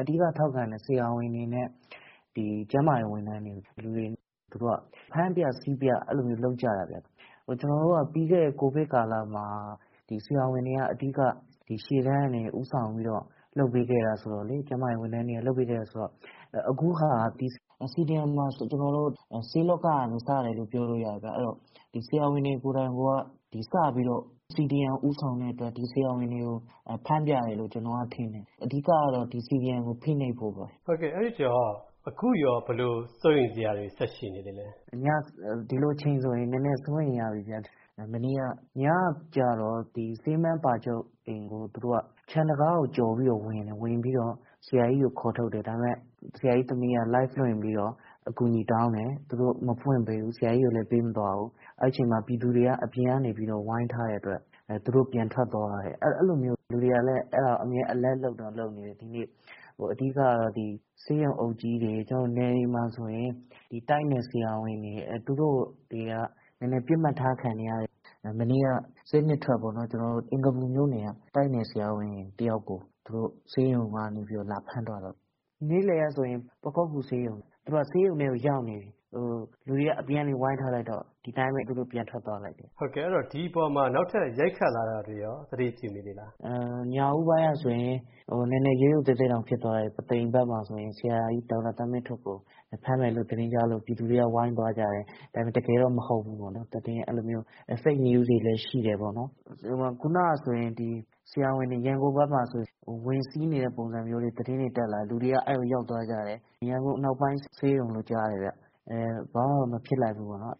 အဓိကထောက်ခံတဲ့ ဆရာဝန်တွေနဲ့ ကျန်းမာရေးဝန်ထမ်းတွေကို သူတို့က ဖမ်းပြ ဆီးပြ လုပ်ကြတာဗျ။ ကျနော်တို့က ပြီးခဲ့တဲ့ COVID ကာလမှာ ဒီဆရာဝန်တွေက အဓိက ရှေ့တန်းကနေ ဦးဆောင်ပြီးတော့ လုပ်ပေးခဲ့တာဆိုတော့လေ ကျန်းမာရေးဝန်ထမ်းတွေက လုပ်ပေးခဲ့တာဆိုတော့ CDM မှာ ကျနော်တို့ ဆေးလောကကနေ စတယ်လို့ ပြောလို့ရတယ်ဗျ။ အဲဒီတော့ ဒီ ဆရာဝန်တွေ ကိုယ်တိုင်က စပြီးတော့ CDM ကို ဦးဆောင်တဲ့အတွက် ဒီ ဆရာဝန်တွေကို ဖမ်းပြတယ်လို့ ကျနော်ထင်တယ်။ အဓိကတော့ ဒီ CDM ကို ဖိနှိပ်ဖို့ပေါ့နော်။ အဲဒီတော့ အခုရော ဘယ်လို စိုးရိမ်စရာတွေ ဆက်ရှိနေသေးသလဲ။ ဒီလိုအချိန်ဆိုရင် နည်းနည်းစိုးရိမ်ရပြီ မနေ့က ညကျတော့ ဆေးမန်း ပါချုပ် အိမ်ကို ခြံတံခါးကို ကျော်ပြီးတော့ ဝင်တယ်။ ဝင်ပြီးတော့ ဆရာကြီးကို ခေါ်ထုတ်တယ်။ ဒါပေမယ့် ဆရာကြီးသမီးက Live လွှင့်ပြီးတော့ အကူအညီတောင်းတယ်၊ သူတို့ မဖွင့်ပေးဘူး ဆရာကြီးကိုလည်း ပေးမသွားဘူး။ အဲဒီအချိန်မှာ ပြည်သူတွေက အပြင်ကနေပြီးတော့ ဝိုင်းထားတဲ့အတွက် သူတို့ပြန်ထွက်သွားရတယ်။ အဲလိုမျိုး လူတွေကလည်း အမြဲ Alert လုပ်နေတယ် ဒီနေ့။ အဓိကတော့ ဆေးရုံအုပ်ကြီးတွေ ကျနော်တို့ နယ်တွေမှာဆိုရင် ဒီ တိုက်နယ်ဆရာဝန်တွေ သူတို့ကိုနည်းနည်း ပစ်မှတ်ထားခံနေရတယ်။ မနေ့က ဆေး ၂ ထွက်ပေါ့နော် ကျနော်တို့ အင်္ဂါပူမြို့နယ်က တိုက်နယ်ဆရာဝန်တယောက်ကို သူတို့ ဆေးရုံကနေပြီးတော့ လာဖမ်းသွားတယ်။ နေ့လည်ကဆိုရင် ပခုက္ကူဆေးရုံ မှာ သူတို့က ဆေးရုံထဲမှာ ရောက်နေပြီ လူတွေက အပြင်ကနေ ဝိုင်းထားလိုက်တော့ ဒီအတိုင်းပဲ ပြန်ထွက်သွားလိုက်တယ်။ ဟုတ်ကဲ့ ဒီအပေါ်မှာ နောက်ထပ် ရိုက်ခတ်လာတာတွေရော သတိပြုမိသေးလား။ ညဦးပိုင်းကဆိုရင် နည်းနည်း ရုတ်ရုတ်သဲသဲတောင်ဖြစ်သွားတယ် ပုသိမ်မှာဆိုရင် ဆရာကြီး ဒေါက်တာသန်းမင်းထွဋ်ကို ဖမ်းမယ်လို့ သတင်းကြားလို့ ပြည်သူတွေက ဝိုင်းသွားကြတယ်။ ဒါပေမယ့် တကယ်တော့ မဟုတ်ဘူးပေါ့နော် သတင်းအဲလိုမျိုး Fake news တွေလည်း ရှိတယ်ပေါ့နော်။ ခုနကဆိုရင် ဆရာဝန်တွေ ရန်ကုန်ဘက်မှာဆိုရင် ဝင်စီးနေတဲ့ ပုံစံမျိုးတွေ သတင်းတွေ တက်လာတယ် လူတွေက အဲဒီကို ရောက်သွားကြတယ်။ ရန်ကုန်အနောက်ပိုင်း ဆေးရုံလို့ကြားတယ်ခင်ဗျ ဘာမှတော့ မဖြစ်လိုက်ဘူးပေါ့နော်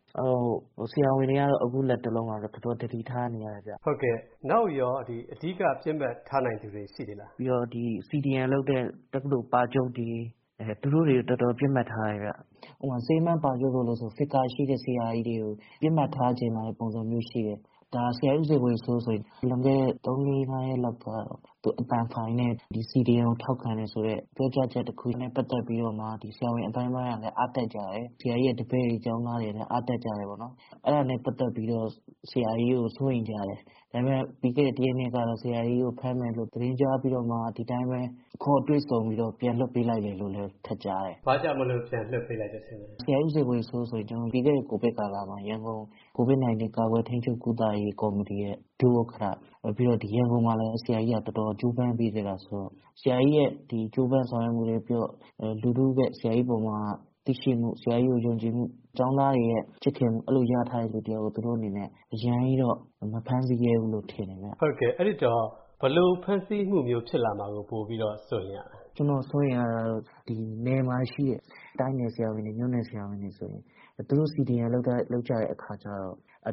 ။ ဆရာဝန်တွေကတော့ အခုလက်တလောတော့ တော်တော်သတိထားနေရတယ်ခင်ဗျ။ နောက်ရော အဓိက ပစ်မှတ်ထားနိုင်တဲ့ လူတွေ ရှိသေးသလား။ ဒီ CDM လုပ်တဲ့ တက္ကသိုလ် ပါချုပ်တွေ သူတို့တွေကို တော်တေ်ာ ပစ်မှတ်ထားတယ်ခင်ဗျ။ ဥပမာ- ဆေးမန်း ပါချုပ်တို့ဆိုရင် Figure ရှိတဲ့ဆရာကြီးတွေကို ပစ်မှတ်ထားချင်လာတဲ့ ပုံစံမျိုးရှိတယ်။ ဆရာကြီး ဦးဇော်ဝေစိုး ဆိုရင် လွန်ခဲ့တဲ့ ၃၊၄၊ ၅ ရက်တုန်းက သူ့အသံဖိုင်နဲ့ CDM ကိုထောက်ခံတယ်ဆိုတဲ့ ပြောကြားချက်တခု နဲ့ ပတ်သက်ပြီးတော့မှ ဆရာဝန်အသိုင်းအဝိုင်းကလည်း အားတက်ကြတယ်။ ဆရာကြီးရဲ့ တပည့်တွေ၊ ကျောင်းသားတွေလည်း အားတက်ကြတယ်။ အဲဒါနဲ့ ပတ်သက်ပြီးတော့ဆရာကြီးကို စိုးရိမ်ကြတယ်။ ဒါပေမယ့် ပြီးခဲ့တဲ့ ၁ ရက် ၂ ရက်တုန်းကတော့ ဆရာကြီးကို ဖမ်းမယ်လို့ သတင်းကြားပြီးတော့မှ ဒီအတိုင်းပဲ ခေါ်တွေ့ဆုံပြီးတော့ ပြန်လွှတ်ပေးလိုက်တယ်လို့လည်း ထပ်ကြားတယ်။ ဘာကြောင့်မို့လို့ ပြန်လွှတ်ပေးလိုက်တယ်ထင်လဲ။ ဆရာကြီး ဦးဇော်ဝေစိုး ဆိုရင် ပြီးခဲ့တဲ့ COVID ကာလမှာ ရန်ကုန် COVID 19 ကာကွယ်ထိန်းချုပ်ကုသရေး ကော်မတီရဲ့ ဒုဥက္ကဋ္ဌ နောက်ပြီး ရန်ကုန်မှာလည်း ဆရာကြီးကတော်တော် ကြိုးပမ်းပေးခဲ့တာဆိုတော့ ဆရာကြီးရဲ့ ကြိုးပမ်းဆောင်ရွက်မှုတွေ၊ လူထုက ဆရာကြီးအပေါ်မှာ သိရှိမှု၊ ဆရာကြီး ကို ယုံကြည်မှု ၊ ကျောင်းသားတွေရဲ့ ချစ်ခင်မှု အဲလိုရထားတဲ့ လူတယောက်ကို သူတို့အနေနဲ့ အရမ်းကြီးတော့ မဖမ်းဆီးရဲဘူးလို့ ထင်တယ်။ ဟုတ်ကဲ့ အဲဒီတော့ ဘယ်လိုဖမ်းဆီးမှုမျိုးဖြစ်လာမှာကို စိုးရိမ်ရသလဲ။ ကျနော်တို့ စိုးရိမ်ရတာတော့ နယ်မှာရှိတဲ့ တိုက်နယ်ဆရာဝန်တွေ၊ မြို့နယ်ဆရာဝန်တွေဆိုရင် သူတို့ CDM လုပ်ကြတဲ့ အခါကျတော့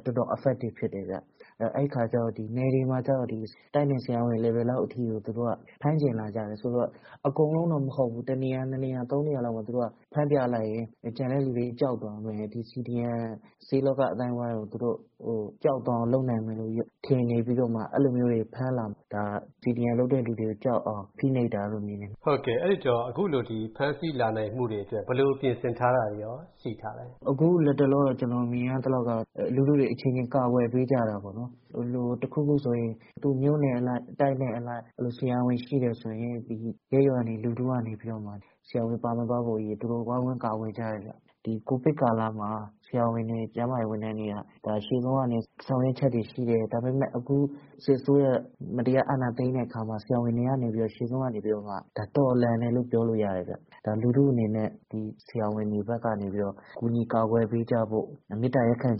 တော်တော် affective ဖြစ်တယ်ခင်ဗျ။ အဲဒီအခါကျတော့ နယ်တွေမှာကျတော့ တိုက်နယ်ဆရာဝန် level လောက်အထိကို သူတို့က ဖမ်းချင်လာကြတယ်ဆိုတော့ အကုန်လုံးတော့ မဟုတ်ဘူး၊ တနေရာ ၂ နေရာ ၊ ၃ နေရာလောက်မှာ သူတို့က ဖမ်းပြလိုက်ရင် ကျန်တဲ့လူတွေ ကြောက်သွားမယ်။ CDM ဆေးလောက အသိုင်းအဝိုင်းကို သူတို့ ကြောက်သွားအောင် လုပ်နိုင်မယ်လို့ ထင်နေပြီးတော့မှ အဲလို မျိုးတွေ ဖမ်းလာတာ။ ဒါက CDM လုပ်တဲ့လူတွေကြောက်အောင် ဖိနှိပ်တာလို့ မြင်ပါတယ်။ ဟုတ်ကဲ့ အဲဒီတော့ အခုလို ဖမ်းဆီးလာနိုင်မှုတွေအတွက် ဘယ်လို ပြင်ဆင်ထားတာတွေရော ရှိထားသလဲ။ အခု လက်တလော ကျနေ်ာမြင်ရသလောက်ကတော့ လူထုတွေအချင်းချင်း ကာကွယ်ပေးကြတာပေါေ့နာ်။ တခုခု ဆိုရင် သူ့မြို့နယ်အလိုက် ၊ တိုက်နယ်အလိုက် အဲလို ဆရာဝန်ရှိတယ်ဆိုရင် ရပ်ရွာမှာတွေ လူထုကနေပြီးတော့မှ ဆရာဝန်ပါမသွားဖို့အရေး သူတို့ ဝိုင်းဝန်းကာကွယ်ကြတယ်။ ဒီ COVID ကာလမှာ ဆရာဝန်တွေ ကျန်းမာရေးဝန်ထမ်းတွေက ရှေ့ဆုံးကနေ ဆောင်ရွက်ချက်တွေရှိတယ်။ ဒါပေမယ့် အခု စစ်အစိုးရ မတရားအာဏာသိမ်းတဲ့အခါမှာ ဆရာဝန်တွေကနေပြီးတော့ ရှေ့ဆုံးကနေ ဒါ တော်လှန်တယ်လို့ ပြောလို့ရတယ်။ ဒါ လူထုအနေနဲ့ ဆရာဝန်တွေဘက်ကနေ ကူညီ ကာကွယ်ပေးကြဖို့ မေတ္တာရပ်ခံချင်